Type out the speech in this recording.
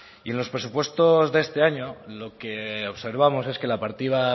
y en los presupuestos de este año lo que observamos es que la partida